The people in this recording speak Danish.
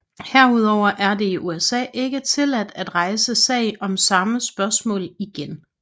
Herudover er det i USA ikke tilladt at rejse sag om samme spørgsmål igen